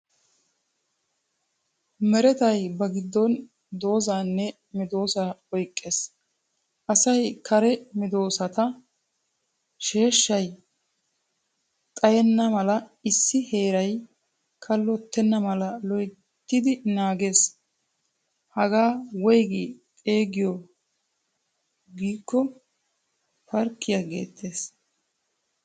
Merettay ba giddon doozaane medosaa oyqqees. Asay karee medoossata sheeshshay xayenna mala issi heeraay kallottenamala loyttidi naagees. Hagaa Woyggi xeegiyo gikko parkkiyaa geetees.